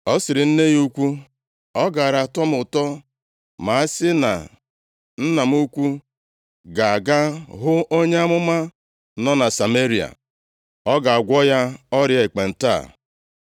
Ọ sịrị nne ya ukwu, “Ọ gaara atọ m ụtọ ma a sị na nna m ukwu ga-aga hụ onye amụma nọ na Sameria. Ọ ga-agwọ ya ọrịa ekpenta a.”